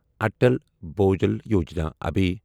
Atal Bhujal Yojana اَبے